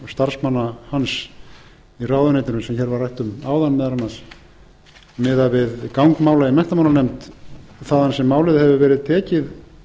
starfsmanna hans í ráðuneytinu sem hér var rætt um miðað við gang mála í menntamálanefnd þaðan sem málið hefur verið tekið